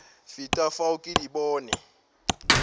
feta fao ke di bone